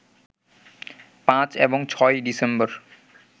৫ এবং ৬ই ডিসেম্বর